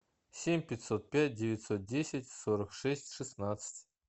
семь пятьсот пять девятьсот десять сорок шесть шестнадцать